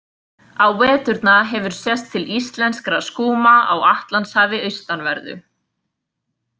Á veturna hefur sést til íslenskra skúma á Atlantshafi austanverðu.